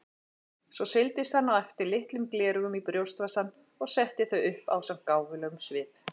Svo seildist hann eftir litlum gleraugum í brjóstvasann og setti þau upp ásamt gáfulegum svip.